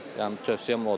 Yəni tövsiyəm odur.